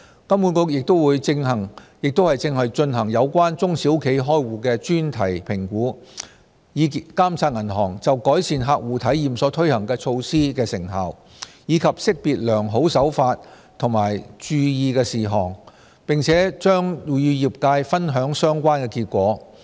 金管局亦正進行有關中小企開戶的專題評估，以監察銀行就改善客戶體驗所推行措施的成效，以及識別良好手法及注意事項，並將與業界分享相關結果。